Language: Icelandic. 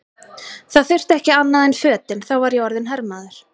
Það þurfti ekki annað en fötin, þá var ég orðinn hermaður!